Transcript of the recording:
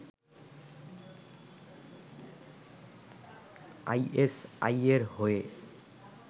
আইএসআইয়ের হয়ে